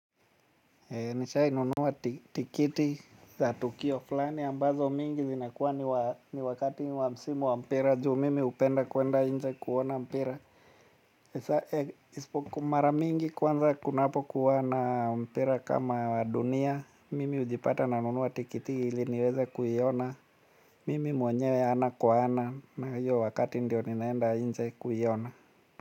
Nishai nunuwa tikiti za tukio fulani ambazo mingi zinakuwa ni wakati wa msimu wa mpira juu mimi upenda kuenda nje kuona mpira. Isipokuwa mara mingi kwanza kunapo kuwa na mpira kama dunia mimi ujipata nanunuwa tikiti ili niweze kuiona. Mimi mwenyewe ana kwa ana na hiyo wakati ndio ninaenda inje kuiona.